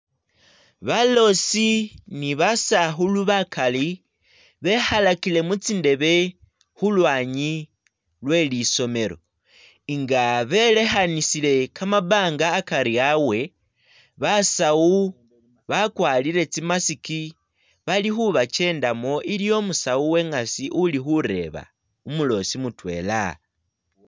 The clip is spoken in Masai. Baloosi ni basakhulu bakali bekhalakile mu tsindebe khu lwanyi lwe lisomelo nga belekhanisile kamabanga akari abwe, basawu bakwarire tsi mask bali khubakendamu, iliwo umusawu uwe ngasi uli khureba umuloosi mutwela.